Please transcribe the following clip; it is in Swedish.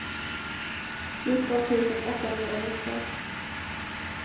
fjorton tusen åttahundranitton